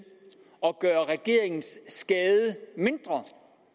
gøre regeringens skade mindre